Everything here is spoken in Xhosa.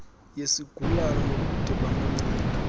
yesigulana nobude bamancedo